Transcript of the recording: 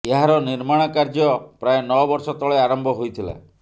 ଏହାର ନିର୍ମାଣ କାର୍ଯ୍ୟ ପ୍ରାୟ ନଅ ବର୍ଷ ତଳେ ଆରମ୍ଭ ହୋଇଥିଲା